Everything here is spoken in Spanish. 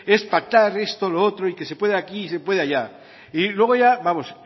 es pactar esto lo otro y que se puede aquí y se puede allá y luego ya